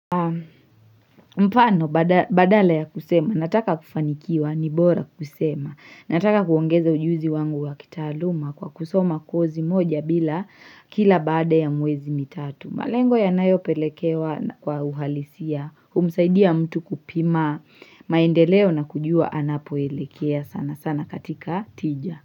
Mfano badala ya kusema, nataka kufanikiwa ni bora kusema, nataka kuongeza ujuzi wangu wakitaaluma kwa kusoma kozi moja bila kila baada ya miezi mitatu. Malengo yanayopelekewa kwa uhalisia, humsaidia mtu kupima, maendeleo na kujua anapoelekea sana sana katika tija.